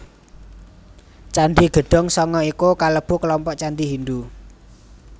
Candhi Gedhong Sanga iku kalebu kelompok candhi Hindhu